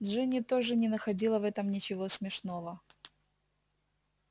джинни тоже не находила в этом ничего смешного